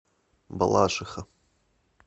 балашиха